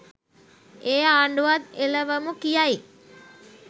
ඒ ආණ්ඩුවත් එලවමු කියයි.